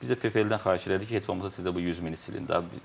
Biz də PFL-dən xahiş elədik ki, heç olmasa siz də bu 100 mini silin də.